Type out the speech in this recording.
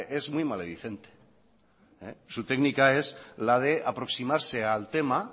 es muy malediciente su técnica es la de aproximarse al tema